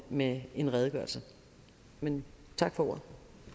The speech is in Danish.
med en redegørelse men tak for ordet